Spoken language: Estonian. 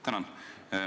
Tänan!